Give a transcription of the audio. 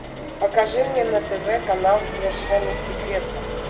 покажи мне на тв канал совершенно секретно